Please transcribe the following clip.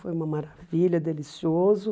Foi uma maravilha, delicioso.